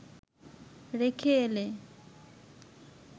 রেখে এলে